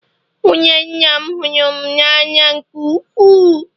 nwunye nna m hụrụ m n'anya nke ukwuu